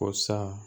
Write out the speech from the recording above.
Ko sa